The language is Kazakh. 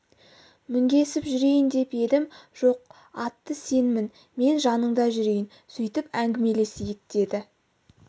мінгесіп жүрейін деп едім жоқ атты сен мін мен жаныңда жүрейін сөйтіп әңгімелесейік деді